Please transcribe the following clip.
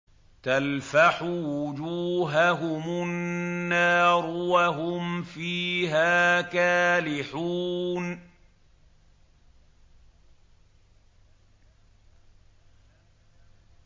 تَلْفَحُ وُجُوهَهُمُ النَّارُ وَهُمْ فِيهَا كَالِحُونَ